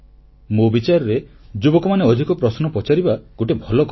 ମୋ ବିଚାରରେ ଯୁବକମାନେ ଅଧିକ ପ୍ରଶ୍ନ ପଚାରିବା ଗୋଟିଏ ଭଲ କଥା